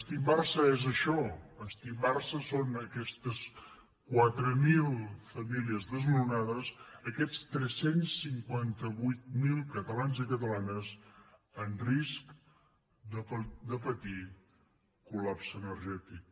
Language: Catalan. estimbar se és això estimbar se són aquestes quatre mil famílies desnonades aquests tres cents i cinquanta vuit mil catalans i catalanes en risc de patir colenergètic